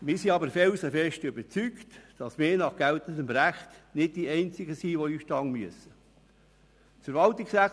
Wir sind aber felsenfest davon überzeugt, dass wir nach geltendem Recht nicht die Einzigen sind, die in den Ausstand treten müssen.